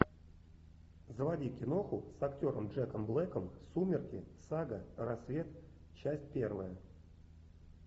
заводи киноху с актером джеком блэком сумерки сага рассвет часть первая